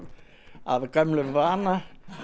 af gömlum vana